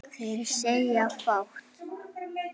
Þeir segja fátt